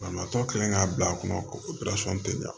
Banabaatɔ kɛlen k'a bila a kɔnɔ ko tɛ ɲa